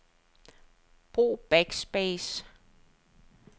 Brug backspace.